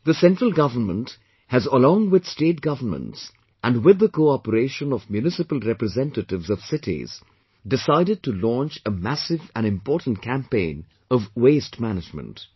The Central Government has along with State Governments and with the cooperation of municipal representatives of cities decided to launch a massive and important campaign of waste management